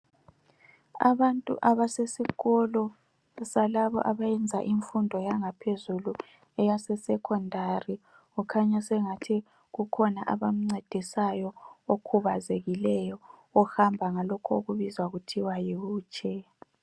abantu abasesikolo salabo abayenza imfundo yangaphezulu eyasesecondary kukhanya engazani sengathi kukhona abamncedisayo okhubazekileyo ohamba ngalokho okubizwa kuthwe yi wheel chair